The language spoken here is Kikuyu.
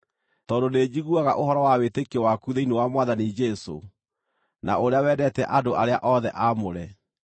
tondũ nĩnjiguaga ũhoro wa wĩtĩkio waku thĩinĩ wa Mwathani Jesũ, na ũrĩa wendete andũ arĩa othe aamũre.